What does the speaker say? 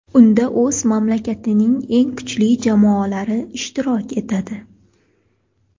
Unda o‘z mamlakatining eng kuchli jamoalari ishtirok etadi.